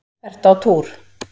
Ertu á túr?